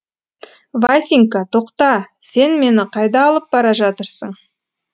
васенька тоқта сен мені қайда алып бара жатырсың